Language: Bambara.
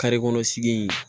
kɔnɔ sigi in